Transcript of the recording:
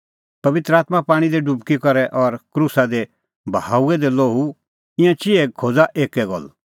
पबित्र आत्मां पाणीं दी डुबकी और क्रूसा दी बहाऊअ द लोहू ईंयां चिहै खोज़ा एक्कै गल्ल